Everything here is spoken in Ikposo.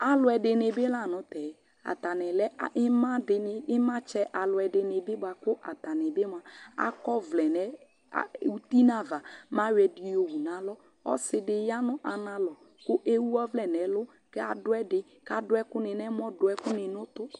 Alʊ ɛdɩnɩ bɩ la nʊ tɛ Atanɩ lɛ ɩmadɩnɩ, ɩmatsɛ alʊadɩnɩ bɩ mʊa bakʊ akɔvlɛ nʊ ʊti nʊ ava mɛ ayɔ ɛdɩnɩ wʊ nʊ alɔ Ɔsɩ dɩ ya nʊ analɔ kʊ lewʊ ɔvlɛ nʊ ɛlʊ kʊ ladʊ ɛdɩ, dʊ ɛkʊnɩ nʊ ʊmɔ dʊ ɛkʊnɩ nʊ ɛmɔ